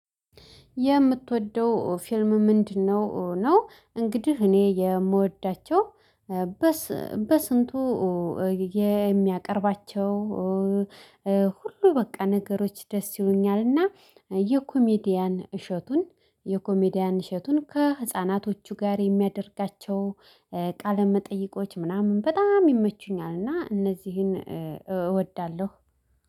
የምትወደው ፊልም ምንድነው ነው? እንግዲህ እኔ የምወዳቸው በስንቱ የሚያቀርባቸው ሁሉ በቃ ነገሮች ደስ ይሉኛልና የኮሜዲያን እሸቱን የኮሜዲያን እሸቱን ከህፃናቶቹ ጋር የሚያደርጋቸው ቃለ መጠይቆች ምናምን በጣም ይመቹኛል። እና እነዚህን እወዳለሁ